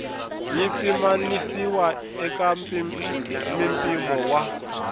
yi pimanisiwa eka mimpimo wa